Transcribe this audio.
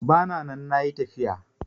Bana nan nayi tafiya